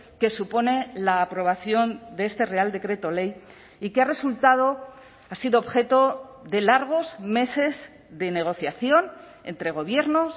que supone la aprobación de este real decreto ley y que ha resultado ha sido objeto de largos meses de negociación entre gobierno